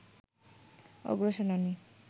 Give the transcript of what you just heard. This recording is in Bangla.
অগ্রসেনানী